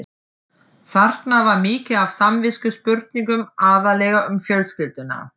Þarna var mikið af samviskuspurningum, aðallega um fjölskylduna.